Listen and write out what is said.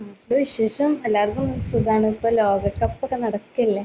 നാട്ടില്‍ വിശേഷം. എല്ലാവർക്കും സുഖാണ്. ഇപ്പൊ ലോകകപ്പൊക്കെ നടക്കല്ലേ?